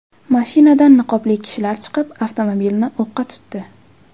Mashinadan niqobli kishilar chiqib, avtomobilni o‘qqa tutdi.